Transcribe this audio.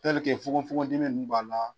fogonfogon dimi nunnu b'a la.